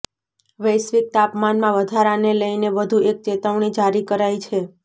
વૈશ્વિક તાપમાનમાં વધારાને લઇને વધુ એક ચેતવણી જારી કરાઇ છે